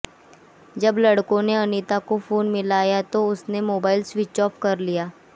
जब लड़कों ने अनीता को फोन मिलाया तो उसने मोबाइल स्विच ऑफ कर लिया